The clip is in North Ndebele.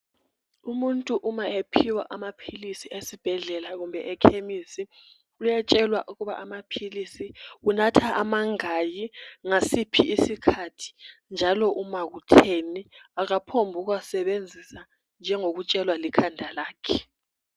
Umuntu uma ephiwa amaphilisi esibhedlela kumbe ekhemisi uyatshelwa ukuba amaphilisi unatha amangaki ngasiphi isikhathi njalo uma kutheni akaphombi ukuwasebenzisa njengokutshelwa likhanda lakhe.